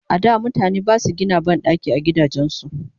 a da mutane Basu Gina banɗaki a gidajen su